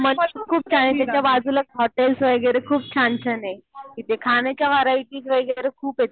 हा . खूप छान आहे. त्याच्या बाजूलाच हॉटेल्स वगैरे खूप छान छान आहे. तिथे खाण्याच्या व्हरायटीज वगैरे खूप आहे.